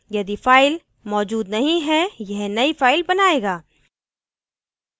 यदि file मौजूद नहीं है यह नयी file बनायेगा